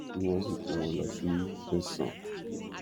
tí wọn sì kó wọn lọ sí tẹsán